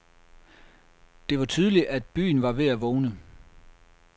Det var tydeligt, at byen var ved at vågne.